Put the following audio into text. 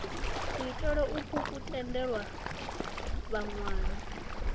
kuitele ukwu ku tendela vhawani